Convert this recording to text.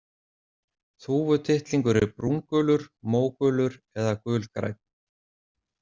Þúfutittlingur er brúngulur, mógulur eða gulgrænn.